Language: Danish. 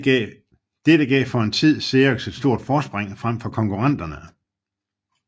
Dette gav for en tid Xerox et stort forspring frem for konkurrenterne